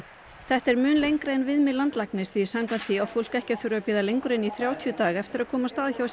þetta er mun lengra en viðmið landlæknis því samkvæmt því á fólk ekki að þurfa að bíða lengur en í þrjátíu daga eftir að komast að hjá